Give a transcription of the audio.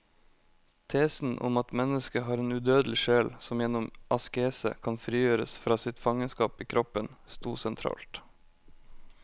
Tesen om at mennesket har en udødelig sjel som gjennom askese kan frigjøres fra sitt fangenskap i kroppen, stod sentralt.